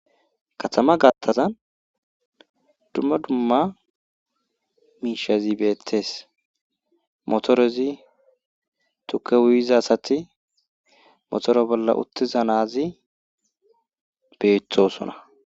katama gattazan dumma dumma miishazi beettees motorezi tuke uyiza asati motoro bolla uttiza na7azi beethosona.